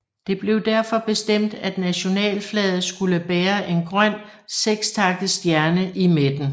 Det blev derfor bestemt at nationalflaget skulle bære en grøn sekstakket stjerne i midten